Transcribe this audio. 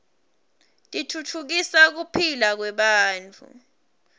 titfutfukisa kuphila kwebantfu